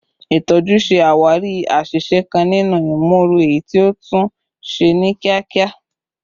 Itọju ṣe awari aṣiṣe kan ninu imooru, eyiti o tun ṣe ni kiakia